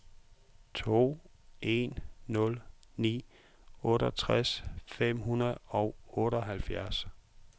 to en nul ni otteogtres fem hundrede og otteoghalvfjerds